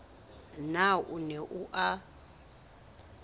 na o ne o a